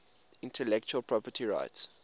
intellectual property rights